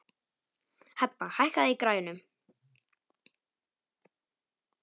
Hebba, hækkaðu í græjunum.